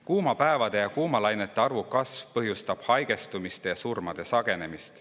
Kuumade päevade ja kuumalainete arvu kasv põhjustab haigestumiste ja surmade sagenemist.